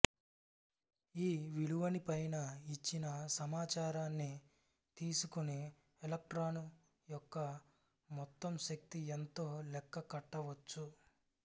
ఈ విలువని పైన ఇచ్చిన సమాచారాన్ని తీసుకుని ఎలక్ట్రాను యొక్క మొత్తం శక్తి ఎంతో లెక్క కట్టవచ్చు